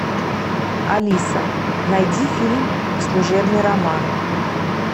алиса найди фильм служебный роман